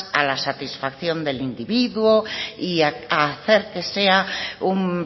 a la satisfacción del individuo y a hacer que sea un